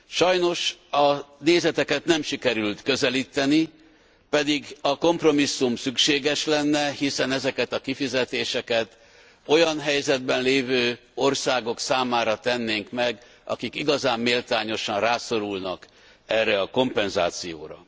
Sajnos a nézeteket nem sikerült közelíteni, pedig a kompromisszum szükséges lenne, hiszen ezeket a kifizetéseket olyan helyzetben lévő országok számára tennénk meg, akik igazán méltányosan rászorulnak erre a kompenzációra.